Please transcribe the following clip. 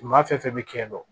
Maa fɛn fɛn bɛ kɛ yen nɔ